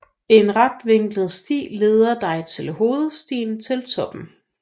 En retvinklet sti leder dig til hovedstien til toppen